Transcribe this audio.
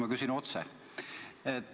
Ma küsin otse.